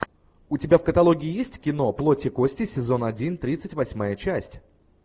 у тебя в каталоге есть кино плоть и кости сезон один тридцать восьмая часть